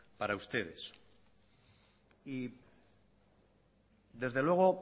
para ustedes y desde luego